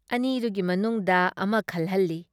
ꯑꯅꯤꯗꯨꯒꯤ ꯃꯅꯨꯡꯗ ꯑꯃ ꯈꯜꯍꯜꯂꯤ ꯫